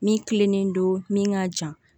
Min kilennen don min ka jan